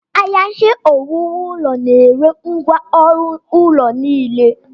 Ahịa Ihe owuwu ụlọ na-ere ngwá ọrụ ụlọ niile.